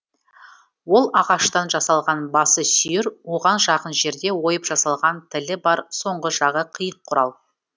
ол ағаштан жасалған басы сүйір оған жақын жерде ойып жасалған тілі бар соңғы жағы қиық құрал